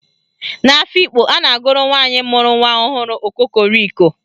N'Afikpo, a na-agụrụ nwaanyị mụrụ nwa ọhụrụ "Okokoriko"